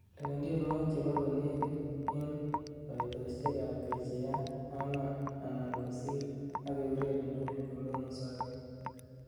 lewen tienywogik chebo konegit en koitosiek ab kejeyat ang'wan anan kosir ak eureren tugul komemusoge